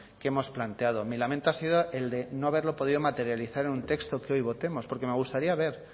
que hemos planteado mi lamento ha sido el de no haberlo podido materializar en un texto que hoy votemos porque me gustaría ver